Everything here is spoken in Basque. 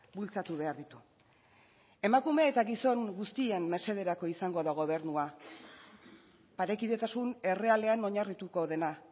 bultzatu behar ditu emakume eta gizon guztien mesederako izango da gobernua parekidetasun errealean oinarrituko dena